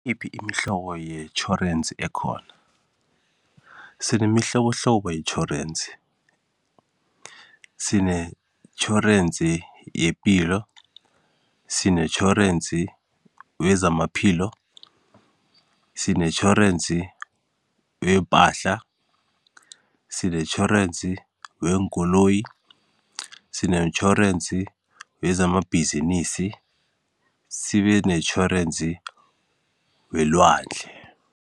Iphi imihlobo yetjhorensi ekhona? Sinemihlobohlobo yetjhorensi, sinetjhorensi yepilo, sinetjhorensi wezamaphilo, sinetjhorensi yeepahla, sinetjhorensi weenkoloyi, sinetjhorensi wezamabhizinisi sibe netjhorensi welwandle.